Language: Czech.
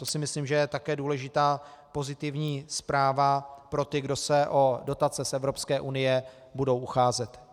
To si myslím, že je také důležitá pozitivní zpráva pro ty, kdo se o dotace z Evropské unie budou ucházet.